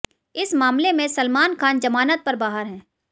इस मामले में सलमान खान जमानत पर बाहर हैं